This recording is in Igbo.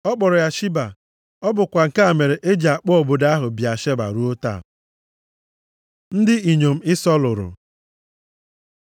Ọ kpọrọ ya Shiba. Ọ bụkwa nke a mere e ji akpọ obodo ahụ Bịasheba + 26:33 Nke a pụtara Olulu mmiri ịṅụ iyi ruo taa. Ndị inyom Ịsọ lụrụ